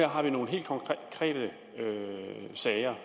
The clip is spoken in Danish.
har vi nogle helt konkrete sager